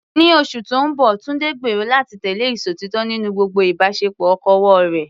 Ní oṣù tó ń bọ̀, Tunde gbèrò láti tẹ̀lé ìṣòtítọ́ nínú gbogbo ìbáṣepọ̀ okòwò rẹ̀.